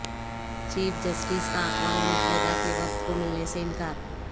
chief justice کا اقوام متحدہ کے وفد کو ملنے سے انکار